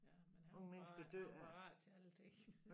Jamen han var han var parat til at ik